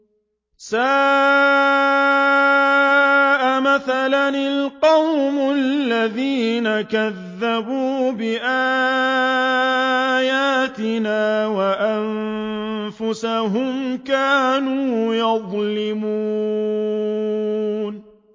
سَاءَ مَثَلًا الْقَوْمُ الَّذِينَ كَذَّبُوا بِآيَاتِنَا وَأَنفُسَهُمْ كَانُوا يَظْلِمُونَ